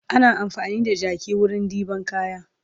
Ana amfani da jaki wurin ɗeban kaya